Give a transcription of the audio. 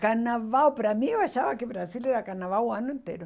Carnaval, para mim, eu achava que o Brasil era carnaval o ano inteiro.